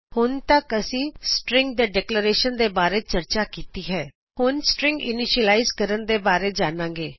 ਹੁਣ ਤਕ ਅਸੀਂ ਸ੍ਟ੍ਰਿੰਗ ਦੇ ਡੇਕਲੇਰੇਸ਼ਨ ਬਾਰੇ ਚਰਚਾ ਕੀਤੀ ਹੈ ਹੁਣ ਅਸੀਂ ਸ੍ਟ੍ਰਿੰਗ ਇਨੀਸ਼ਿਅਲਾਇਜ਼ ਕਰਨ ਦੇ ਬਾਰੇ ਜਾਨਾਂ ਗੇ